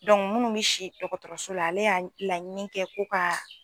minnu bɛ si dɔgɔtɔrɔso la ale y'a laɲini kɛ ko ka